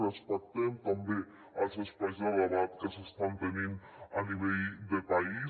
respectem també els espais de debat que s’estan tenint a nivell de país